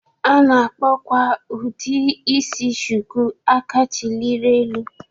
A na-akpọkwa ụdị isi Shuku 'Aka chilịrị elu'